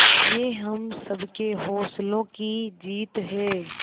ये हम सबके हौसलों की जीत है